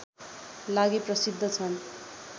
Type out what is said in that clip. लागि प्रसिद्ध छन्